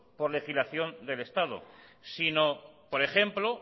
por legislación del estado sino por ejemplo